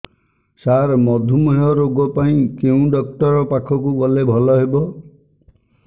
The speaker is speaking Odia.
ସାର ମଧୁମେହ ରୋଗ ପାଇଁ କେଉଁ ଡକ୍ଟର ପାଖକୁ ଗଲେ ଭଲ ହେବ